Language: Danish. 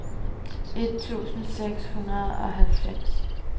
et tusind seks hundrede og halvfems